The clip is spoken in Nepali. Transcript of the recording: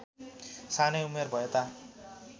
सानै उमेर भएता